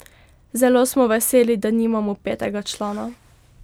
Zelo smo veseli, da imamo petega člana.